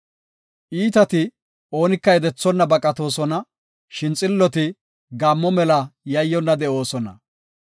Iitati oonika yedethonna baqatoosona; shin xilloti gaammo mela yayyonna de7oosona.